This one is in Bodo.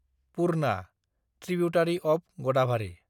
Purna (tributary of Gadabhari)